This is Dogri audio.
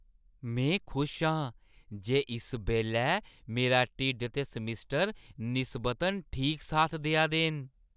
में खुश आं जे इस बेल्लै मेरा ढिड्ड ते समैस्टर निस्बतन ठीक साथ देआ दे न।